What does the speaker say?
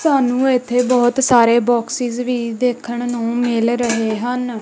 ਸਾਨੂੰ ਏੱਥੇ ਬਹੁਤ ਸਾਰੇ ਬੋਕਸਿਸ ਵੀ ਦੇਖਣ ਨੂੰ ਮਿਲ ਰਹੇ ਹਨ।